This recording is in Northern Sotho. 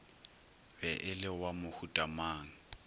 be e le wa mohutamang